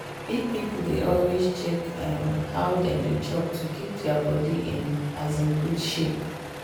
big people dey always check um how dem dey chop to keep their body in um good shape.